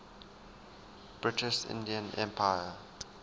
british indian empire